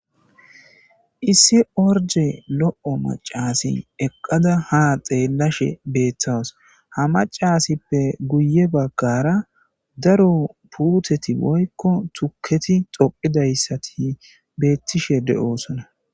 issi orde lo7o macasin eqqada ha xeellashe beettawus ha macasippe guye baggara daro puuteti boykko tukketi xoqidayssati beettishe de7osona